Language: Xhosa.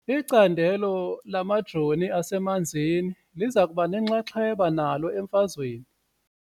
Icandelo lamajoni asemanzini liza kuba nenxaxheba nalo emfazweni .